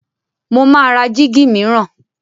Mo máa ra jíígi mìíràn.